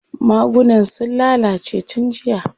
Magunan sun lalace tun jiya.